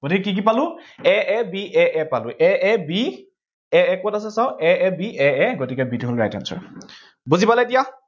গতিকে কি কি পালো a a b a a পালো। a a b a a কত, আছে চাওঁ, গতিকে b টো হল right answer